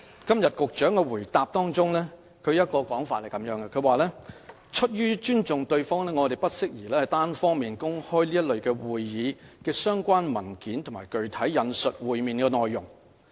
局長的主體答覆是這樣說的，"出於尊重對方，我們不宜單方面公開這類會議的相關文件或具體引述會面內容"。